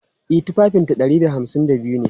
E, tufafinta ɗari da hamsin da biyu ne.